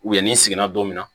U ye ni sigira don min na